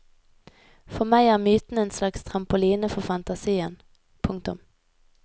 For meg er myten en slags trampoline for fantasien. punktum